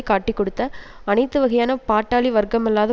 காட்டிக்கொடுத்த அனைத்து வகையான பாட்டாளி வர்க்கமல்லாத